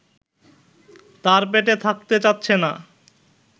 তার পেটে থাকতে চাচ্ছে না